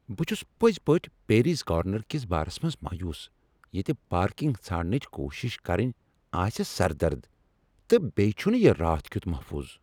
بہٕ چھس پٔزۍ پٲٹھۍ پیریز کارنر کس بارس منٛز مایوس ییٚتہ پارکنگ ژھارنٕچ کوٗشش کرٕنۍ آسہ سردرد، تہٕ بییہ چھنہٕ یہ راتھ کیُت محفوظ۔